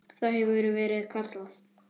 Það hefur verið kallað